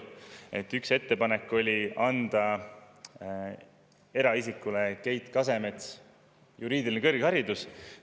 Nimelt, üks ettepanek oli omistada eraisik Keit Kasemetsale juriidiline kõrgharidus.